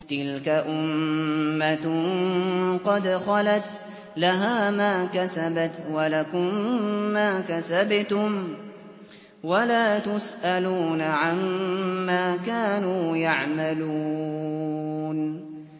تِلْكَ أُمَّةٌ قَدْ خَلَتْ ۖ لَهَا مَا كَسَبَتْ وَلَكُم مَّا كَسَبْتُمْ ۖ وَلَا تُسْأَلُونَ عَمَّا كَانُوا يَعْمَلُونَ